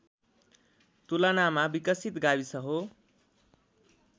तुलनामा विकसित गाविस हो